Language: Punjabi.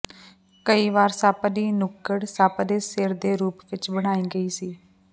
ਕਈ ਵਾਰ ਸੱਪ ਦੀ ਨੁੱਕੜ ਸੱਪ ਦੇ ਸਿਰ ਦੇ ਰੂਪ ਵਿਚ ਬਣਾਈ ਗਈ ਸੀ